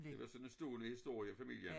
Det er sådan en stående historie i familien